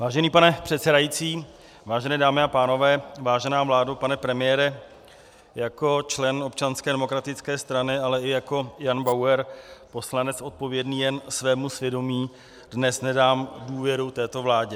Vážený pane předsedající, vážené dámy a pánové, vážená vládo, pane premiére, jako člen Občanské demokratické strany, ale i jako Jan Bauer, poslanec odpovědný jen svému svědomí, dnes nedám důvěru této vládě.